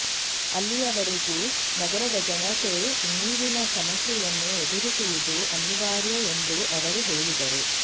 ಅಲ್ಲಿಯ ವರೆಗೂ ನಗರದ ಜನತೆ ನೀರಿನ ಸಮಸ್ಯೆಯನ್ನು ಎದುರಿಸುವುದು ಅನಿವಾರ್ಯ ಎಂದು ಅವರು ಹೇಳಿದರು